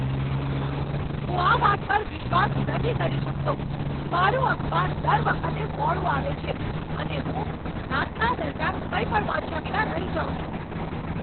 હું આ વાત પર વિશ્વાસ નથી કરી શકતો! મારું અખબાર દર વખતે મોડું આવે છે અને હું નાસ્તા દરમિયાન કંઈ પણ વાંચ્યા વિના રહી જાઉં છું.